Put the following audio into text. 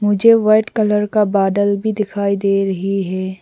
मुझे white colour का बादल भी दिखाई दे रही है।